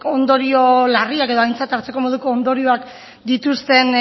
ondorio larriak edo aintzat hartzeko moduko ondorioak dituzten